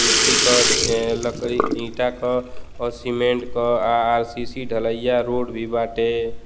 इथी क लकड़ी ईटा क और सीमेंट क आ आर.सी.सी. ढलाईया रोड भी बाटे --